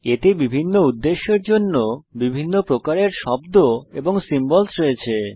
এতে বিভিন্ন উদ্দেশ্যের জন্য বিভিন্ন প্রকারের শব্দ এবং সিম্বলস রয়েছে